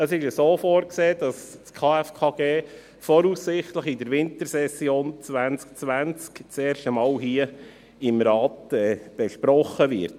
Es ist vorgesehen, dass das KFKG voraussichtlich in der Wintersession 2020 erstmals hier im Rat besprochen wird.